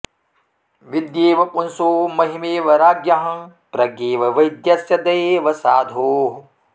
विद्येव पुंसो महिमेव राज्ञः प्रज्ञेव वैद्यस्य दयेव साधोः